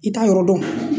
I t'a yɔrɔ dɔn